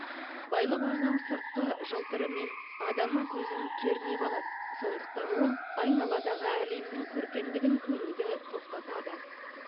байлық өзінің сыртқы жалтырымен адамның көзін кернеп алады сондықтан ол айналадағы әлемнің көркемдігін көруді тоқтатады